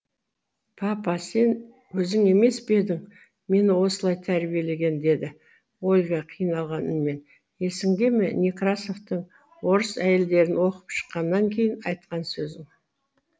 папа сен өзің емес пе едің мені осылай тәрбиелеген деді ольга қиналған үнмен есіңде ме некрасовтың орыс әйелдерін оқып шыққаннан кейін айтқан сөзің